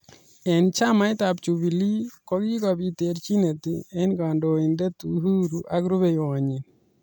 Eng chamait ab jubilee kokikobit terjinet eng kandoindet uhuru ak rubeiywot nyi.